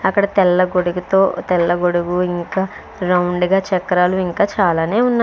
అక్కడ తెల్ల గొడుగుతో తెల్లగొడుగు ఇంకా రౌండ్ గా చక్రాలు ఇంకా చాలానే ఉన్న --